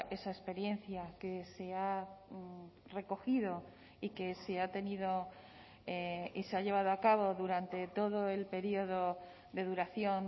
esa experiencia que se ha recogido y que se ha tenido y se ha llevado a cabo durante todo el periodo de duración